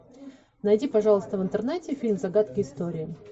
найди пожалуйста в интернете фильм загадки истории